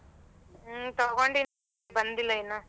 ಹ್ಮ ತಗೊಂಡಿ ಬಂದಿಲ್ಲ ಇನ್ನ.